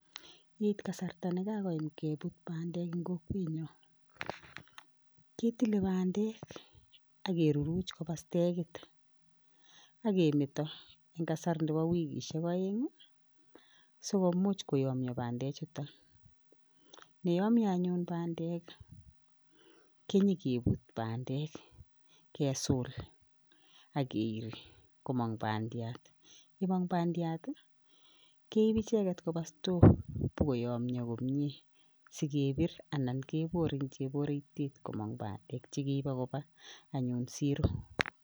Yeit kasarta ne kakoyam kebut bandek eng kokwenyo, ketile bandek ak keruruch koba stakit akemeto eng kasar nebo wikisiek aeng ii so komuch koyomnyo bandechuto, yeyomnyo anyun bandek ii, kenyekebut bandek kesul ak keiri komong bandiat, yemong bandiat ii keip icheket koba store bo koyomnyo komie si kebir anan kebor eng cheboritit komong bandek che keibe koba anyun siro.